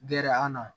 Gɛrɛ an na